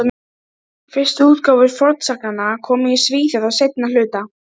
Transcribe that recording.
Mér finnst sanngjarnt að íslenska þjóðsagan fái að fljóta með.